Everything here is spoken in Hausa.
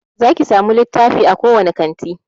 Zaki samu littafi a kowane kanti